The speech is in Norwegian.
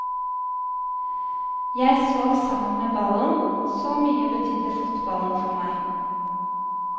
Jeg sov sammen med ballen, så mye betydde fotballen for meg.